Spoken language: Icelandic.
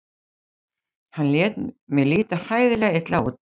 Hann lét mig líta hræðilega illa út.